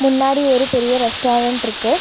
முன்னாடி ஒரு பெரிய ரெஸ்டாரண்ட்ருக்கு .